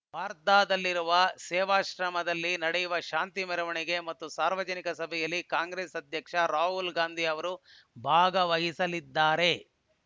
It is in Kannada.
ವಾರ್ಧಾದಲ್ಲಿರುವ ಸೇವಾಶ್ರಮದಲ್ಲಿ ನಡೆಯಲಿರುವ ಶಾಂತಿ ಮೆರವಣಿಗೆ ಮತ್ತು ಸಾರ್ವಜನಿಕ ಸಭೆಯಲ್ಲಿ ಕಾಂಗ್ರೆಸ್‌ ಅಧ್ಯಕ್ಷ ರಾಹುಲ್‌ ಗಾಂಧಿ ಅವರು ಭಾಗವಹಿಸಲಿದ್ದಾರೆ